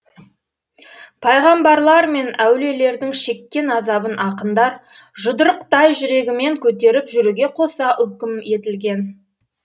пайғамбарлар мен әулиелердің шеккен азабын ақындар жұдырықтай жүрегімен көтеріп жүруге қоса үкім етілген